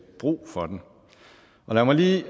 brug for den lad mig lige